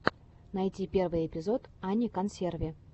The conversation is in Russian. найти первый эпизод ани консерви